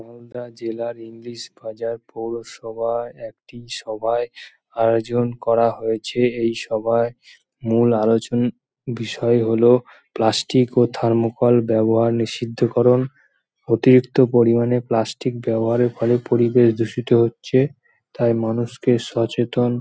মালদা জেলার ইংলিশ বাজার পৌরসভা একটি সভায় আয়োজন করা হয়েছে। এই সভায় মূল আলোচনার বিষয় হল প্লাষ্টিক ও থার্মোকল ব্যবহার নিষিদ্ধকরণ। অতিরিক্ত পরিমাণে প্লাষ্টিক ব্যবহারের ফলে পরিবেশ দূষিত হচ্ছে। তাই মানুষকে সচেতন--